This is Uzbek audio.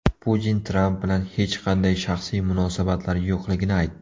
Putin Tramp bilan hech qanday shaxsiy munosabatlari yo‘qligini aytdi.